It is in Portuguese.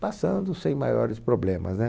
Passando sem maiores problemas, né?